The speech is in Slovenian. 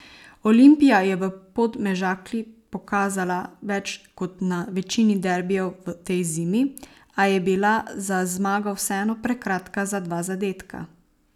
Olimpija je v Podmežakli pokazala več kot na večini derbijev v tej zimi, a je bila za zmago vseeno prekratka za dva zadetka.